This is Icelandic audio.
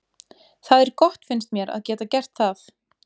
Það er gott finnst mér að geta gert það.